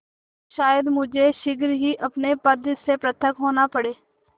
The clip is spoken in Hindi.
तो शायद मुझे शीघ्र ही अपने पद से पृथक होना पड़े